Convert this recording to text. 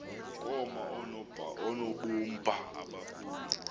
koma oonobumba abakhulu